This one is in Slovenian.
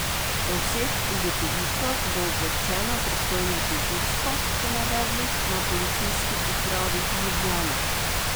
O vseh ugotovitvah bo obveščeno pristojno tožilstvo, so navedli na Policijski upravi Ljubljana.